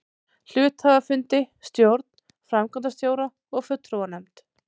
hluthafafundi, stjórn, framkvæmdastjóra og fulltrúanefnd.